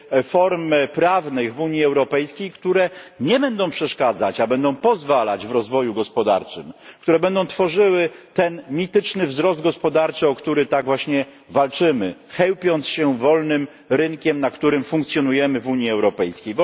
form prawnych w Unii Europejskiej, które nie będą przeszkadzać, a będą pozwalać w rozwoju gospodarczym, które będą tworzyły ten mityczny wzrost gospodarczy, o który tak właśnie walczymy, chełpiąc się wolnym rynkiem, na którym funkcjonujemy w Unii Europejskiej.